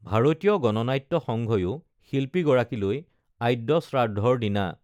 ভাৰতীয় গণনাট্য সংঘয়ো শিল্পী গৰাকীলৈ আদ্যশ্ৰাদ্ধৰ দিনা